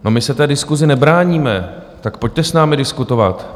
No my se té diskusi nebráníme, tak pojďte s námi diskutovat.